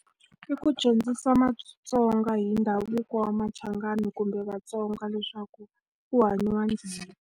I ku dyondzisa maTsonga hi ndhavuko wa machangani kumbe Vatsonga leswaku ku hanyiwa .